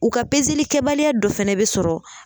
U ka pezeli kɛbaliya dɔ fana bɛ sɔrɔ